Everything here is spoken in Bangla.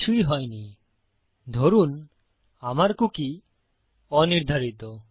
কিছুই হয়নি ধরুন আমার কুকী অনির্ধারিত